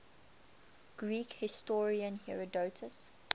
greek historian herodotus